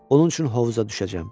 Onun üçün hovuza düşəcəm.